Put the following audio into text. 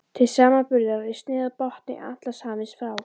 Til samanburðar er snið af botni Atlantshafsins frá